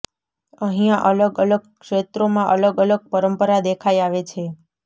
અહીંયા અલગ અલગ ક્ષેત્રોમાં અલગ અલગ પરંપરા દેખાઈ આવે છે